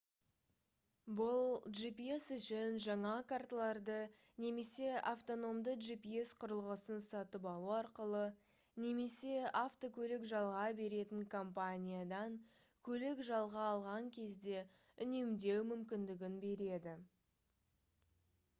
бұл gps үшін жаңа карталарды немесе автономды gps құрылғысын сатып алу арқылы немесе автокөлік жалға беретін компаниядан көлік жалға алған кезде үнемдеу мүмкіндігін береді